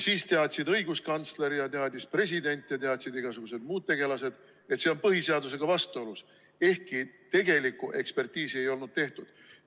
Siis teadsid õiguskantsler ja teadis president ja teadsid igasugused muud tegelased, et see on põhiseadusega vastuolus, ehkki tegelikku ekspertiisi ei olnud tehtud.